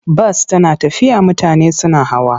Bas tana tafiya mutane suna hawa.